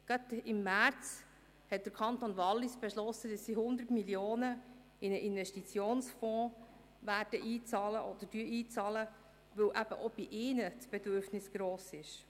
Erst im März hat der Kanton Wallis beschlossen, 100 Mio. Franken in einen Investitionsfonds einzuzahlen, weil auch dort ein grosses Bedürfnis besteht.